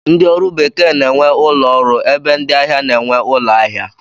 Ndị ọrụ bekee na-enwe ụlọọrụ ebe ndị ahịa na-enwe ụlọahịa